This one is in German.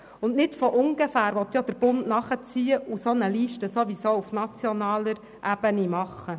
Der Bund will denn auch nicht von ungefähr nachziehen und eine solche Liste auf nationaler Ebene erarbeiten.